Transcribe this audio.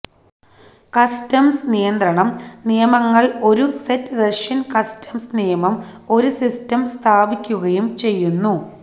customs നിയന്ത്രണം നിയമങ്ങൾ ഒരു സെറ്റ് റഷ്യൻ കസ്റ്റംസ് നിയമം ഒരു സിസ്റ്റം സ്ഥാപിക്കുകയും ചെയ്യുന്നു